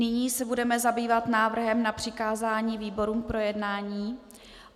Nyní se budeme zabývat návrhem na přikázání výborům k projednání.